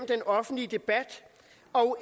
den offentlige debat og